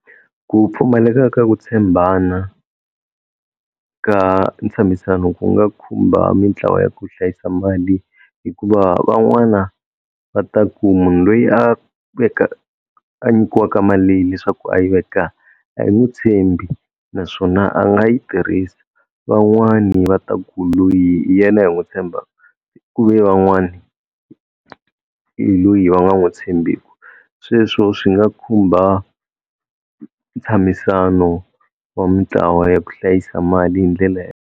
Ku pfumaleka ka ku tshembana ka ntshamisano ku nga khumba mintlawa ya ku hlayisa mali hikuva van'wana va ta ku munhu loyi a veka a nyikiwaka mali leyi leswaku a yi veka a hi n'wi tshembi naswona a nga yi tirhisa van'wani va ta ku loyi hi yena hi n'wu tshembaka ku ve van'wani hi loyi va nga n'wu tshembiku, sweswo swi nga khumba ntshamisano wa mintlawa ya ku hlayisa mali hi ndlela .